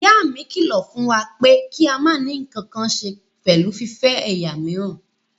Ìyá mi kílọ̀ fún wa pé kí a máa ní ǹkankan ṣe pẹ̀lú fífẹ́ ẹ̀yà míìràn.